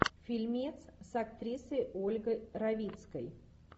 фильмец с актрисой ольгой равицкой